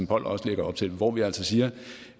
poll også lægger op til hvor vi altså siger